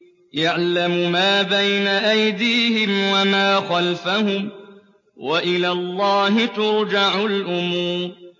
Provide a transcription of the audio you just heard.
يَعْلَمُ مَا بَيْنَ أَيْدِيهِمْ وَمَا خَلْفَهُمْ ۗ وَإِلَى اللَّهِ تُرْجَعُ الْأُمُورُ